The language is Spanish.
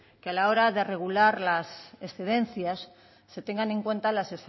que a la hora de regular las excedencias se tengan en cuenta las